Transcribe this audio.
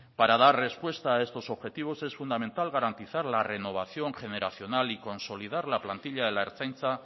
para dar respuesta a estos objetivos es fundamental garantizar la renovación generacional y consolidar la plantilla de la ertzaintza